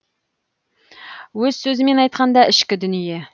өз сөзімен айтқанда ішкі дүние